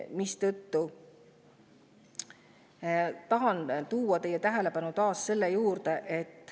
Seetõttu tahan taas kord teie tähelepanu Eesti lahendusele.